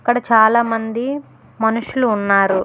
ఇక్కడ చాలా మంది మనుషులు ఉన్నారు.